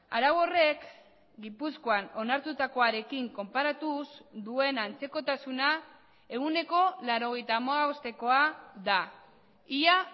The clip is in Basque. arau horrek gipuzkoan onartutakoarekin konparatuz duen antzekotasuna ehuneko laurogeita hamabostekoa da ia